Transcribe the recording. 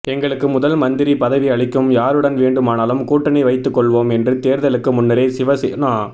எங்களுக்கு முதல் மந்திரி பதவி அளிக்கும் யாருடன் வேண்டுமானாலும் கூட்டணி வைத்துக் கொள்வோம் என்று தேர்தலுக்கு முன்னரே சிவசேனா